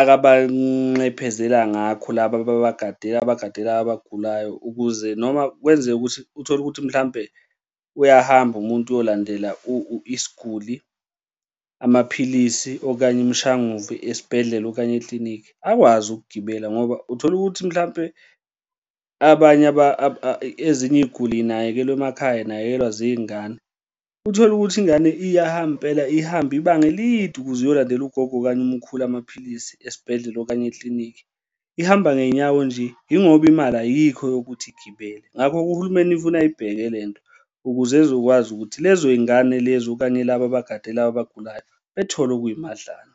akabanxephezela ngakho laba ababagadela ababagadela abagulayo, ukuze noma kwenzeka ukuthi uthole ukuthi mhlampe uyahamba, umuntu uyolandela isguli amaphilisi okanye imshanguzo esibhedlela okanye eklinikhi akwazi ukugibela ngoba uthola ukuthi mhlampe abanye ezinye iy'guli y'nakekelwa emakhaya, y'nakekelwa zingane. Uthole ukuthi ingane iyahamba impela ihambe ibanga elide ukuze uyolandela ugogo okanye umkhulu amaphilisi esibhedlela okanye eklinikhi, ihamba ngey'nyawo nje, yingoba imali ayikho yokuthi igibele. Ngakho-ke uhulumeni funa ayibheke le nto ukuze ezokwazi ukuthi lezo y'ngane lezo okanye laba abagade laba abagulayo bethole okuyimadlana.